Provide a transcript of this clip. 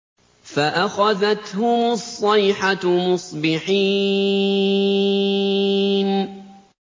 فَأَخَذَتْهُمُ الصَّيْحَةُ مُصْبِحِينَ